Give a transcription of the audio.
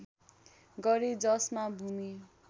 गरे जसमा भूमि